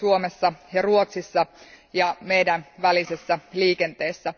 Suomessa ja Ruotsissa ja meidän välisessä liikenteessä.